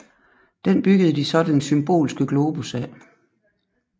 Den byggede de så den Symbolske Globus af